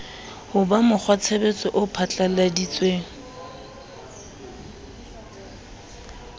ho ba mokgwatshebetso o phatlalladitsweng